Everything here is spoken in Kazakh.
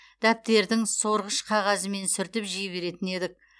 дәптердің сорғыш қағазымен сүртіп жей беретін едік